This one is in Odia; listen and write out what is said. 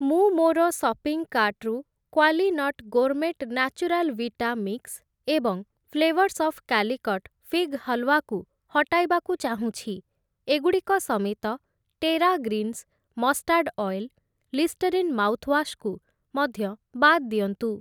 ମୁଁ ମୋର ସପିଂ କାର୍ଟ୍‌ରୁ Qualinut gourmet natural vita mix ଏବଂ flavours of Calicut fig halwa କୁ ହଟାଇବାକୁ ଚାହୁଁଛି । ଏଗୁଡ଼ିକ ସମେତ, Terra Greens mustard oil, Listerine mouthwash କୁ ମଧ୍ୟ ବାଦ୍ ଦିଅନ୍ତୁ ।